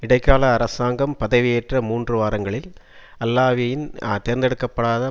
இடைக்கால அரசாங்கம் பதவியேற்ற மூன்று வாரங்களில் அல்லாவியின் தேர்ந்தெடுக்க படாத